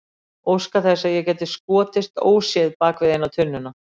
Óska þess að ég geti skotist óséð bak við eina tunnuna.